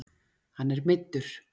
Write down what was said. Hann er meiddur